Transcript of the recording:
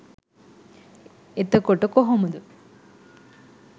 එතකොට කොහොමද